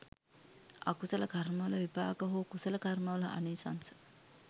අකුසල කර්මවල විපාක හෝ කුසල කර්මවල ආනිශංස